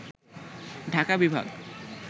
ঢাকা বিভাগ